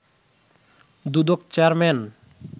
Dudok chairman